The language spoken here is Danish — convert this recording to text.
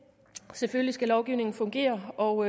selvfølgelig skal lovgivningen fungere og